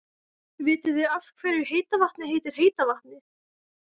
Vitið þið af hverju heita vatnið heitir heita vatnið?